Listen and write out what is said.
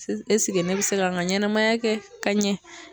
ɛseke ne bɛ se ka n ka ɲɛnɛmaya kɛ ka ɲɛ